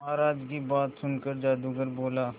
महाराज की बात सुनकर जादूगर बोला